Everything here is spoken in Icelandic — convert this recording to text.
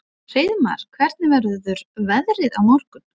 Hreiðmar, hvernig verður veðrið á morgun?